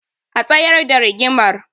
A tsayar da rigimar